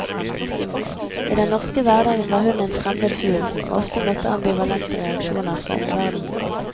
I den norske hverdagen var hun en fremmed fugl som ofte møtte ambivalente reaksjoner fra omverdenen.